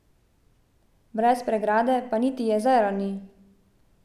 Brez pregrade pa niti jezera ni.